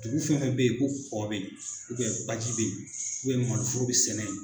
Dugu fɛn fɛn bɛ ye ko kɔ bɛ ye baji bɛ ye maloforo bɛ sɛnɛ ye.